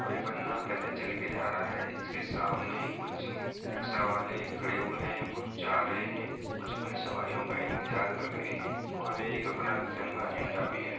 और एक बंदा पैदल चल के जा रहा है इसके सामने कुछ रिक्शा वाले खड़े हुए हैं कुछ जा रहे हैं कुछ अपनी सवारियों का इंतजार कर रहे हैं और एक अपना तिंरगा झंडा भी है।